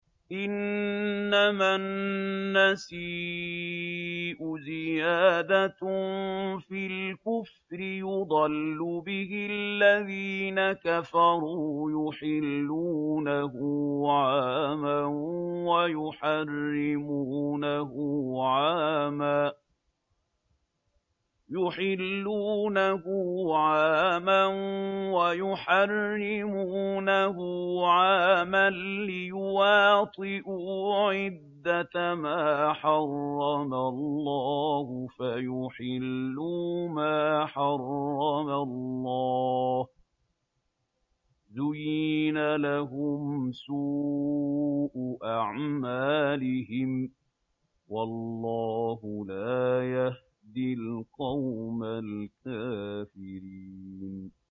إِنَّمَا النَّسِيءُ زِيَادَةٌ فِي الْكُفْرِ ۖ يُضَلُّ بِهِ الَّذِينَ كَفَرُوا يُحِلُّونَهُ عَامًا وَيُحَرِّمُونَهُ عَامًا لِّيُوَاطِئُوا عِدَّةَ مَا حَرَّمَ اللَّهُ فَيُحِلُّوا مَا حَرَّمَ اللَّهُ ۚ زُيِّنَ لَهُمْ سُوءُ أَعْمَالِهِمْ ۗ وَاللَّهُ لَا يَهْدِي الْقَوْمَ الْكَافِرِينَ